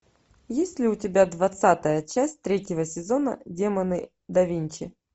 есть ли у тебя двадцатая часть третьего сезона демоны да винчи